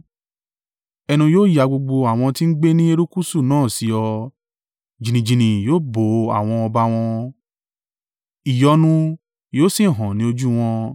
Ẹnu yóò ya gbogbo àwọn ti ń gbé ní erékùṣù náà sí ọ jìnnìjìnnì yóò bo àwọn ọba wọn, ìyọnu yóò sì han ní ojú wọn.